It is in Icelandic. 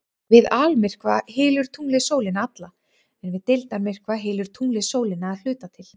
Við almyrkva hylur tunglið sólina alla en við deildarmyrkva hylur tunglið sólina að hluta til.